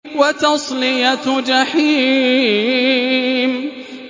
وَتَصْلِيَةُ جَحِيمٍ